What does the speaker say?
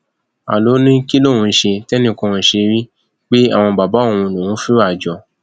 a ló ní kí lòun ṣe tẹnìkan kó ṣe rí pé àwọn bàbá òun lòún fìwà jọ